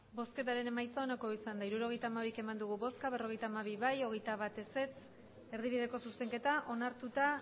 bozketaren emaitza onako izan da hirurogeita hamairu eman dugu bozka berrogeita hamabi boto alde veintiuno contra erdibideko zuzenketa onartuta